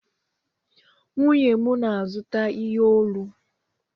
Nwunye m na-azụta ihe olu.